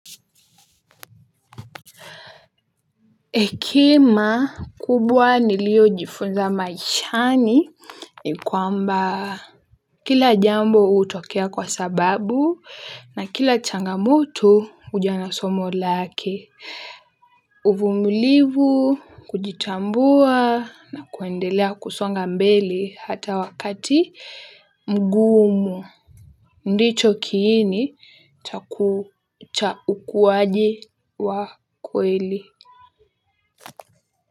Hekima kubwa niliojifunza maishani ni kwamba kila jambo utokea kwa sababu na kila changamoto uja nasomo lake. Uvumulivu kujitambua na kuendelea kusonga mbele hata wakati mgumu ndicho kiini cha ukuwaje wa kweli.